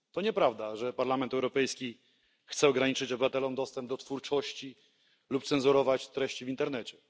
To nieprawda, że Parlament Europejski chce ograniczyć obywatelom dostęp do twórczości lub cenzurować treści w internecie.